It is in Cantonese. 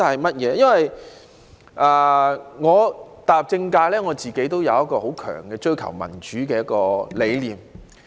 自我踏入政界以來，我自己有追求民主的強大理念。